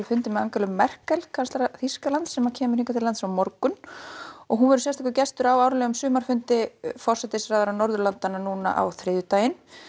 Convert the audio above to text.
fundinn með Angelu Merkel kanslara Þýskalands sem kemur til landsins á morgun hún verður sérstakur gestur á árlegum sumarfundi forsætisráðherra Norðurlandanna á þriðjudag